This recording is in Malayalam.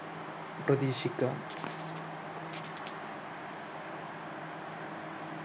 പ്രതീക്ഷിക്കാം